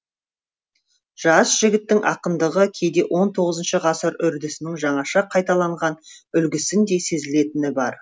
жас жігіттің ақындығы кейде он тоғызыншы ғасыр үрдісінің жаңаша қайталанған үлгісіндей сезілетіні бар